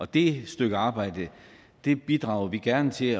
det stykke arbejde bidrager vi gerne til